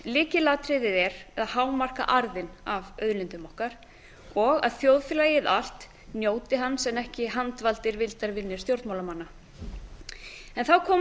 lykilatriðið er að hámarka arðinn af auðlindum okkar og að þjóðfélagið allt njóti hans en ekki handvaldir vildarvinir stjórnmálamanna þá komum